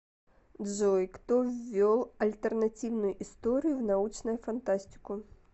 джой кто ввел альтернативную историю в научную фантастику